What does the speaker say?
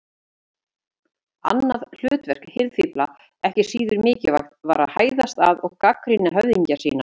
Annað hlutverk hirðfífla, ekki síður mikilvægt, var að hæðast að og gagnrýna höfðingja sína.